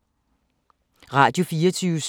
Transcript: Radio24syv